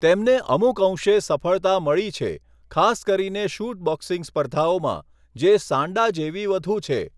તેમને અમુક અંશે સફળતા મળી છે, ખાસ કરીને શૂટ બોક્સિંગ સ્પર્ધાઓમાં, જે સાન્ડા જેવી વધુ છે.